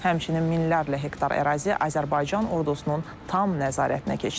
Həmçinin minlərlə hektar ərazi Azərbaycan ordusunun tam nəzarətinə keçdi.